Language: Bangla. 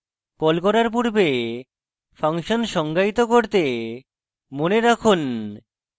কল করার পূর্বে function সঙ্গায়িত করতে মনে রাখুন